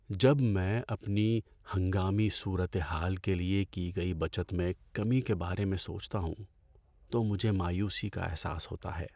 جب میں اپنی ہنگامی صورتحال کے لیے کی گئی بچت میں کمی کے بارے میں سوچتا ہوں تو مجھے مایوسی کا احساس ہوتا ہے۔